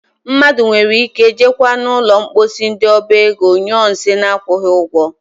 Mmadụ nwere ike jekwaa n'ụlọ mposi ndị oba ego nyụọ nsị na-akwụghị ụgwọ.